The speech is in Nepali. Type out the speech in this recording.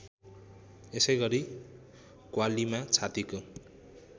यसैगरी कव्वालीमा छातीको